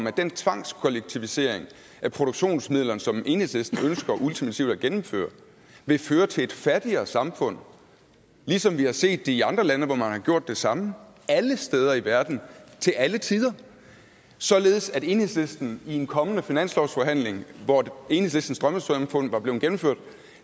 at den tvangskollektivisering af produktionsmidlerne som enhedslisten ultimativt ønsker at gennemføre vil føre til et fattigere samfund ligesom vi har set det i andre lande hvor man har gjort det samme alle steder i verden til alle tider således at enhedslisten i en kommende finanslovsforhandling hvor enhedslistens drømmesamfund var blevet gennemført